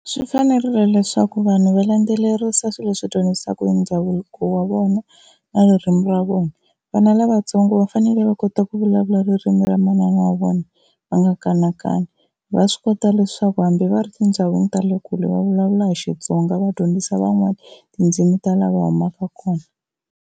Swi fanerile leswaku vanhu va landzelerisa swilo swi dyondzisaku hi ndhavuko wa vona na ririmi ra vona. Vana lavatsongo va fanele va kota ku vulavula ririmi ra manana wa vona va nga kanakani, va swi kota leswaku hambi va ri tindhawini ta le kule va vulavula hi Xitsonga va dyondzisa van'wani tindzimi ta laha va humaka kona.